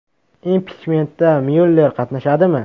Impichmentda Myuller qatnashadimi?